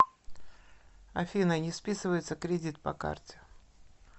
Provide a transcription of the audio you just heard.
афина не списывается кредит по карте